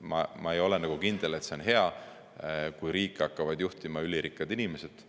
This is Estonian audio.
Ma ei ole kindel, et see on hea, minu arvates on isegi halb, kui riiki hakkavad juhtima ülirikkad inimesed